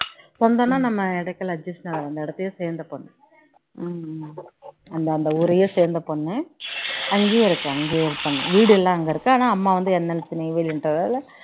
சொந்தம்னா நம்ம இடத்துல adjust டா அந்த இடத்தையே சேர்ந்த பொண்ணு அந்த ஊரையே சேர்ந்த பொண்ணு அங்கயே இருக்காங்க அங்கயே இருக்காங்க வீடுலாம் அங்க இருக்கு ஆனா அம்மா வந்து NLC ல நெய்வேலி